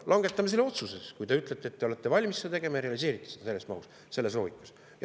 Langetame siis selle otsuse, kui te ütlete, et te olete valmis seda tegema ja te realiseerite selle selles mahus, selles loogikas.